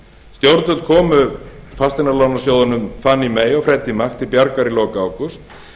stjórnvöld komu fasteignalánasjóðunum fannie að og freddie mac til bjargar í lok ágúst